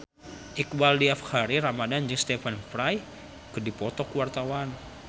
Iqbaal Dhiafakhri Ramadhan jeung Stephen Fry keur dipoto ku wartawan